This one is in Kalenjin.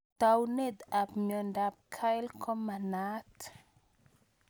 Taunet ab miondop Kyrle ko ma naat